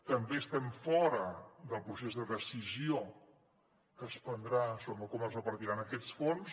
també estem fora del procés de decisió que es prendrà sobre com es repartiran aquests fons